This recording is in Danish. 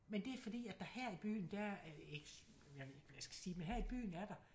Men det er fordi at der her i byen der øh jeg ved ikke hvad jeg skal sige men her i byen er der